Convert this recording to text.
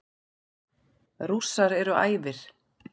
Rússar eru æfir.